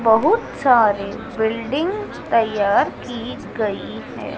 बहुत सारे बिल्डिंग तैयार की गई है।